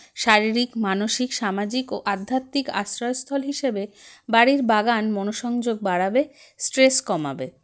শারীরিক মানসিক সামাজিক ও আধ্যাত্মিক আশ্রয়স্থল হিসাবে বাড়ির বাগান মনোসংযোগ বাড়াবে stress কমাবে